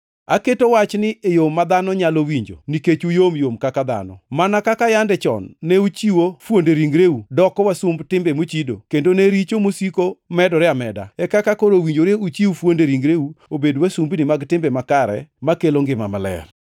Aketo wachni e yo ma dhano nyalo winjo nikech uyomyom kaka dhano. Mana kaka yande chon ne uchiwo fuonde ringreu doko wasumb timbe mochido, kendo ne richo mosiko medore ameda, e kaka koro owinjore uchiw fuonde ringreu obed wasumbini mag timbe makare makelo ngima maler.